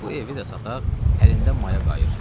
Bu evi də sataq, əlində maya qayıır.